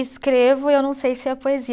Escrevo e eu não sei se é poesia.